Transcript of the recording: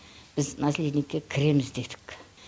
біз наследникке кіреміз дедік